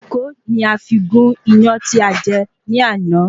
Kókò ni a fi gún iyán tí a jẹ ní àná